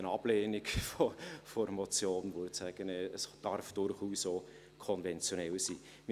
Eine Ablehnung der Motion würde aussagen, es dürfe durchaus auch konventionell sein.